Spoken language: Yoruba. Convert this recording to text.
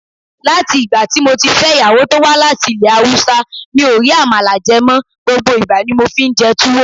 Látì'gbàtí moti fẹ́ ìyàwó tówá láti ilé Haúsá, mi ò rí Àmàlà jẹ mọ, gbogbo ìgbà ni mofi ńjẹ Túwó.